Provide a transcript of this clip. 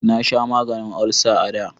Na sha maganin olsa a da